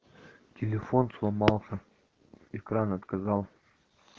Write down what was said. телефон сломался экран отказал